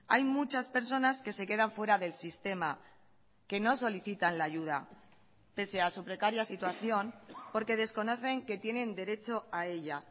hay muchas personas que se quedan fuera del sistema que no solicitan la ayuda pese a su precaria situación porque desconocen que tienen derecho a ella